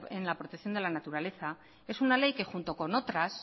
en la protección de la naturaleza es una ley que junto con otras